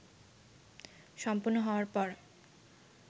সম্পূর্ণ হওয়ার পর